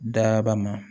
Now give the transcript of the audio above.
Daba ma